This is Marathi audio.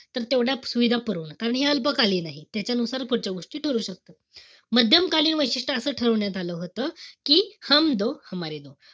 तर तेवढा सुविधा पुरवणं. कारण हे अल्पकालीन आहे. त्यांच्यानुसार पुढच्या गोष्टी ठरू शकतात. माध्यम कालीन वैशिष्ट्य असं ठरवण्यात आलं होतं कि .